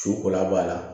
Su kola b'a la